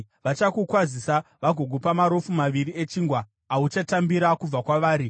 Vachakukwazisa vagokupa marofu maviri echingwa, auchatambira kubva kwavari.